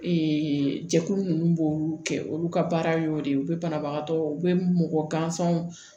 jɛkulu ninnu b'olu kɛ olu ka baara y'o de ye u bɛ banabagatɔ u bɛ mɔgɔ gansanw